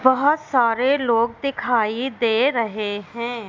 बहोत सारे लोग दिखाई दे रहें हैं।